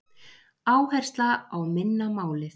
Áhersla á minna málið